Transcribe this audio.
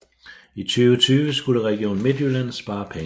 I 2020 skulle Region Midtjylland spare penge